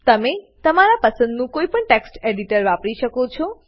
તમે તમારા પસંદનું કોઈપણ ટેક્સ્ટ એડીટર વાપરી શકો છો